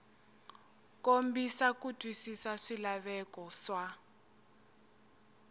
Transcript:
kombisa ku twisisa swilaveko swa